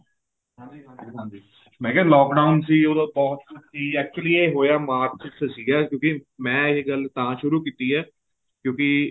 ਹਾਂਜੀ ਹਾਂਜੀ ਹਾਂਜੀ ਮੈਂ ਕਿਹਾ lock down ਸੀ ਉਹਦੋ ਬਹੁਤ ਸੀ actually ਏ ਹੋਇਆ ਮਾਰਚ ਚ ਸੀਗਾ ਕਿਉਂਕਿ ਮੈਂ ਏ ਗੱਲ ਤਾਂ ਸ਼ੁਰੂ ਕੀਤੀ ਏ ਕਿਉਂਕਿ